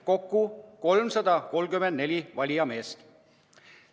Kokku oli 334 valijameest.